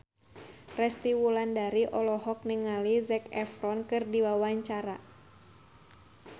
Resty Wulandari olohok ningali Zac Efron keur diwawancara